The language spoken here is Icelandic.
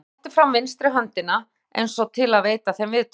Og hann rétti fram vinstri höndina eins og til að veita þeim viðtöku.